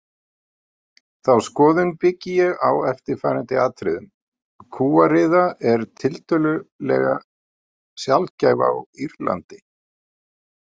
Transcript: Þá skoðun byggi ég á eftirfarandi atriðum: Kúariða er tiltölulega sjaldgæf á Írlandi.